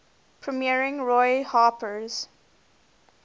premiering roy harper's